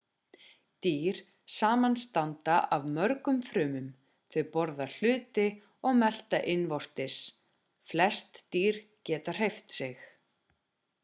dýr samanstanda af mörgum frumum þau borða hluti og melta innvortis flest dýr geta hreyft sig